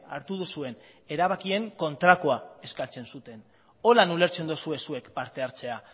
hartu duzuen erabakien kontrakoa eskatzen zuten horrela ulertzen duzue zuek parte hartzea